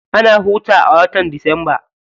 Ana hutu a watan disamba.